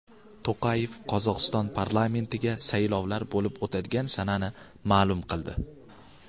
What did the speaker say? To‘qayev Qozog‘iston parlamentiga saylovlar bo‘lib o‘tadigan sanani ma’lum qildi.